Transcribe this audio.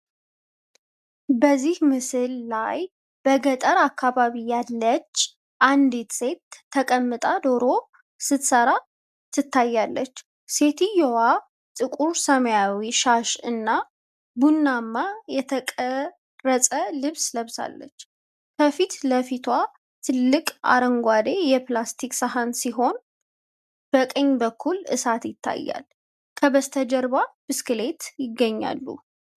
በዚህ ምስል ላይ በገጠር አካባቢ ያለች አንዲት ሴት ተቀምጣ ዶሮ ስትሠራ ትታያለች። ሴትየዋ ጥቁር ሰማያዊ ሻሽ እና ቡናማ የተቀረጸ ልብስ ለብሳለች። ከፊት ለፊቷ ትልቅ አረንጓዴ የፕላስቲክ ሰሃን ሲሆን፣ በቀኝ በኩል እሳት ይታያል። ከበስተጀርባ ብስክሌት ይገኛሉ።